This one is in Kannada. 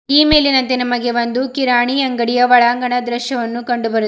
ಈ ಮೇಲಿನಂತೆ ನಮಗೆ ಒಂದು ಕಿರಾಣಿ ಅಂಗಡಿಯ ಒಳಾಂಗಣ ದೃಶ್ಯವನ್ನು ಕಂಡು ಬರುತ್--